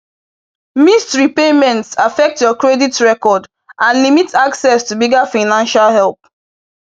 Missed repayments affect your credit record and limit access to bigger financial help.